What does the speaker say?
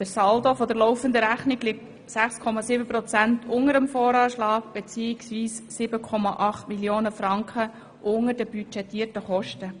Der Saldo der laufenden Rechnung liegt um 6,7 Prozent unter dem Voranschlag, bzw. um 7,8 Mio. Franken unter den budgetierten Kosten.